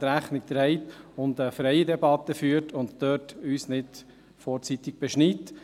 Deshalb möchten wir, dass man eine freie Debatte führt und uns nicht vorzeitig beschneidet.